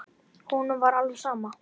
Honum var alveg sama.